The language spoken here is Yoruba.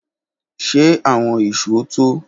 Ṣe awọn ìṣó to?